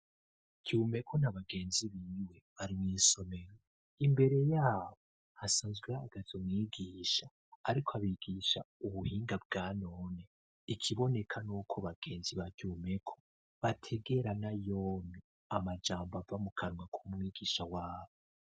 Cumeko na bagenzi biwe, bari mw' isomero, imbere yabo hasanzwe hagazo mwigisha ,ariko abigisha ubuhinga bwanone ,ikiboneka n'uko bagenzi ba Cumeko ,bategera na yompi amajambo ava mukanwa k'umwigisha wabo.